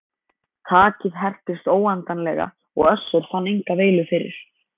Takið hertist óendanlega og Össur fann enga veilu fyrir.